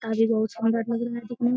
अभी बहुत शानदार लग रहा है देखने में।